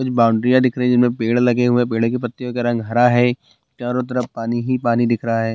कुछ बाउंड्रीया दिख रही है जिनमें पेड़ लगे हुए पेड़ की पत्तियों का रंग हरा है चारों तरफ पानी ही पानी दिख रहा है।